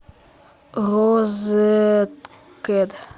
розеткед